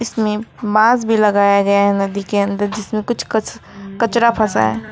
इसमें बांस भी लगाया गया है नदी के अंदर जिसमें कुछ कच कचरा फसा है।